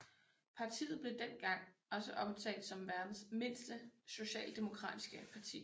Partiet blev dengang også omtalt som verdens mindste socialdemokratiske parti